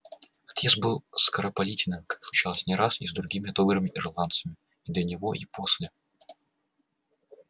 отъезд был скоропалительным как случалось не раз и с другими добрыми ирландцами и до него и после